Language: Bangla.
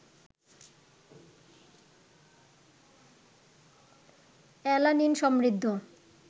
অ্যালানিন সমৃদ্ধ